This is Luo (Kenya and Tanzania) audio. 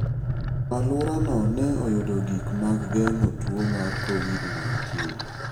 Alworano ne oyudo gik mag geng'o tuo mar Covid-19.